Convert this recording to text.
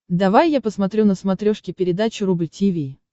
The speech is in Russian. давай я посмотрю на смотрешке передачу рубль ти ви